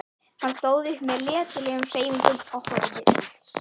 Hann stóð upp með letilegum hreyfingum og horfði út.